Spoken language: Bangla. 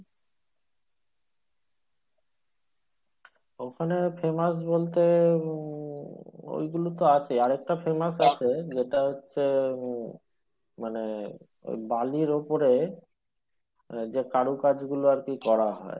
ওখানে famous বলতে এ ঐইগুলো তো আছে আরেকটা famous আছে যেটা হচ্ছে মানে ওই বালির ওপরে ওই যে কারুকাজ গুলো আরকি করা হয়।